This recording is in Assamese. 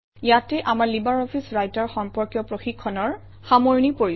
ইয়াতে আমাৰ লিব্ৰে অফিছ ৰাইটাৰ সম্পৰ্কীয় প্ৰশিক্ষণৰ সামৰণি পৰিছে